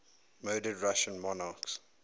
murdered russian monarchs